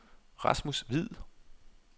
Rasmus Hviid